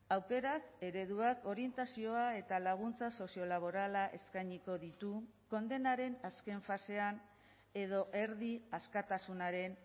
aukerak ereduak orientazioa eta laguntza soziolaborala eskainiko ditu kondenaren azken fasean edo erdi askatasunaren